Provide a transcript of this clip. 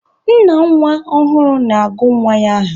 Nna nwa ọhụrụ na-agụ nwa ya aha.